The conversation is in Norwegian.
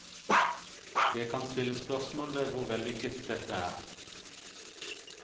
Det kan stilles spørsmål ved hvor vellykket dette er.